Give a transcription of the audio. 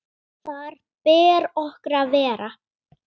Þar ber okkur að vera!